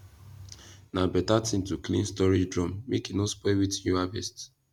na beta ting to clean storage drum make e no spoil wetin you harvest